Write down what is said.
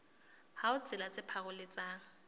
ha ho tsela tse paroletsang